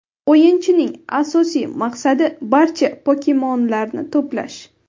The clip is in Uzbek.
O‘yinchining asosiy maqsadi – barcha pokemonlarni to‘plash.